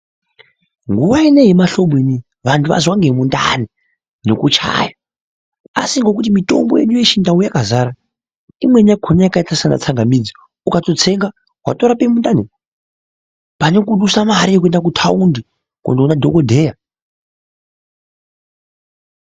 Nguwa ineyi yemahlobo antu azwa ngemundani nekuchaya ,asi ngekuti kwane mitombo yakazara yakaita sana tsangamidzi ukatotsenga watorape mundani pane kudusa mare yekuenda kutaundi kundoona dhokoteya .